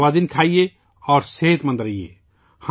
متوازن غذا کھائیے اور صحت مند رہیئے